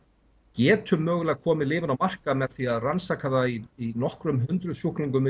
getum mögulega komið lyfinu á markað með því að rannsaka það í nokkur hundruð sjúklingum í